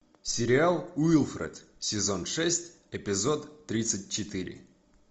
сериал уилфред сезон шесть эпизод тридцать четыре